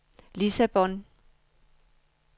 Lissabon